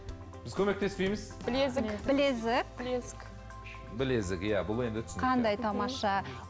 біз көмектеспейміз білезік білезік білезік білезік иә бұл енді түсінікті қандай тамаша